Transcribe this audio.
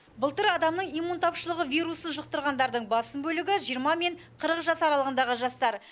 былтыр адамның иммун тапшылығы вирусын жұқтырғандардың басым бөлігі жиырма мен қырық жас аралығындағы жастар